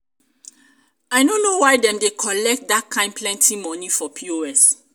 i no know why dem dey collect dat um kin plenty um money for pos.